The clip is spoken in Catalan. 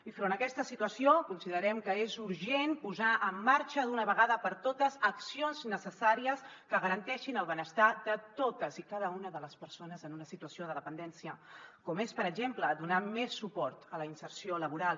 i davant aquesta situació considerem que és urgent posar en marxa d’una vegada per totes accions necessàries que garanteixin el benestar de totes i cada una de les persones en una situació de dependència com és per exemple donar més suport a la inserció laboral